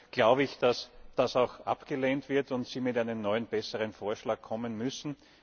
Deshalb glaube ich, dass das auch abgelehnt wird und Sie mit einem neuen besseren Vorschlag kommen müssen.